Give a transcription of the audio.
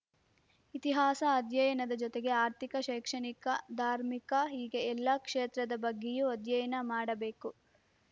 ಇತಿಹಾಸ ಅಧ್ಯಯನದ ಜೊತೆಗೆ ಆರ್ಥಿಕ ಶೈಕ್ಷಣಿಕ ಧಾರ್ಮಿಕ ಹೀಗೆ ಎಲ್ಲಾ ಕ್ಷೇತ್ರದ ಬಗ್ಗೆಯೂ ಅಧ್ಯಯನ ಮಾಡಬೇಕು